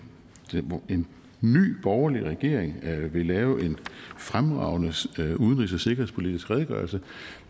ny borgerlig regering vil lave en fremragende udenrigs og sikkerhedspolitisk redegørelse